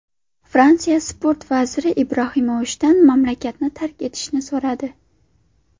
Fransiya Sport vaziri Ibrohimovichdan mamlakatni tark etishni so‘radi.